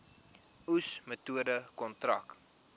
oes metode kontrak